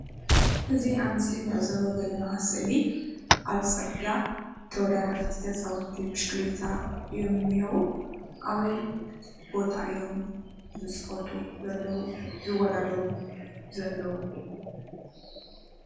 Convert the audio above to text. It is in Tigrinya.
እዚ ኣብ ምስሊ ንዕዘቦ ዘለና ስእሊ ኣብ ፅርግያ ተወዳደርቲ ተፃወቲ ብሽክሌታ እዮም እኒሀው፡፡ ኣበይ ቦታ እዮም ዝኸዱ ዘለው ዝወዳደሩ ዘለው?